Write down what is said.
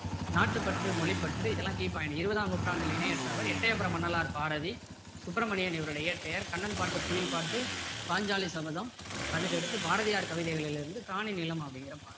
நாட்டுப்பற்று மொழிப்பற்று இதெல்லாம் key point இருபதாம் நூற்றாண்டில இணையற்றவர் எட்டயபுரம் மன்னரால் பாரதி சுப்பிரமணியன் இவருடைய இயற்பெயர் கண்ணன் பாட்டு குயில் பாட்டு பாஞ்சாலி சபதம் அதுக்கடுத்து பாரதியார் கவிதைகளிலிருந்து காணி நிலம் அப்படிங்கிற பாடல்